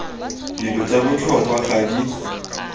dilo tsa botlhokwa ga di